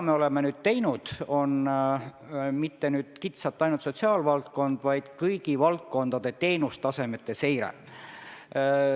Me oleme nüüd teinud mitte ainult kitsalt sotsiaalvaldkonna, vaid kõigi valdkondade teenustasemete seire.